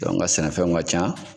an ka sɛnɛfɛnw ka can.